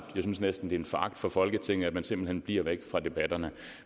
jeg synes næsten en foragt for folketinget simpelt hen bliver væk fra debatterne